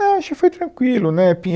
Ah, acho que foi tranquilo, né.